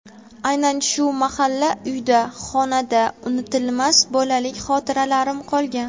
Aynan shu malla uyda (xonada) unutilmas bolalik xotiralarim qolgan.